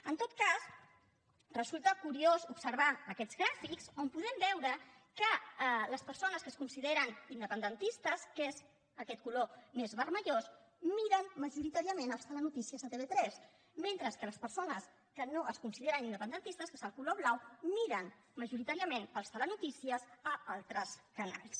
en tot cas resulta curiós observar aquests gràfics on podem veure que les persones que es consideren independentistes que és aquest color més vermellós miren majoritàriament els telenotícies a tv3 mentre que les persones que no es consideren independentistes que és el color blau miren majoritàriament els telenotícies a altres canals